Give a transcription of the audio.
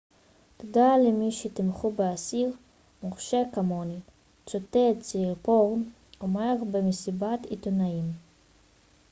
תודה למי שתמכו באסיר מורשע כמוני צוטט סיריפורן אומר במסיבת עיתונאים